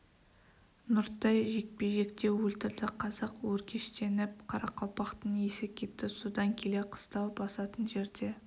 нұртай жекпе жекте өлтірді қазақ өркештеніп қарақалпақтың есі кетті содан келе қыстау басатын жерде